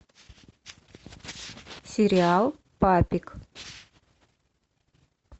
сериал папик